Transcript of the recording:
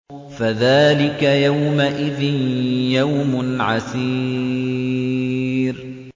فَذَٰلِكَ يَوْمَئِذٍ يَوْمٌ عَسِيرٌ